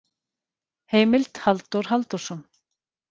Heimild: Halldór Halldórsson.